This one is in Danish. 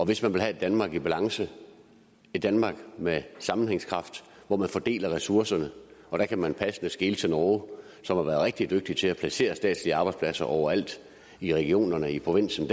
hvis man vil have et danmark i balance et danmark med sammenhængskraft hvor man fordeler ressourcerne og der kan man passende skele til norge som har været rigtig dygtige til at placere statslige arbejdspladser overalt i regionerne og i provinsen